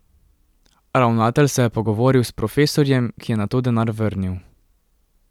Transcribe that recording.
Ravnatelj se je pogovoril s profesorjem, ki je nato denar vrnil.